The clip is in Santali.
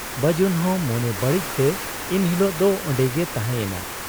ᱵᱟᱹᱡᱩᱱ ᱦᱚᱸ ᱢᱚᱱᱮ ᱵᱟᱹᱲᱤᱡ ᱛᱮ ᱤᱱᱦᱤᱞᱚᱜ ᱫᱚ ᱚᱱᱰᱮᱜᱮᱭ ᱛᱟᱦᱮᱸ ᱭᱮᱱᱟ ᱾